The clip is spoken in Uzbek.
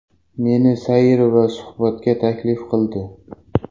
Meni sayr va suhbatga taklif qildi.